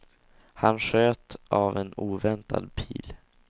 Han sköt av en oväntad pil.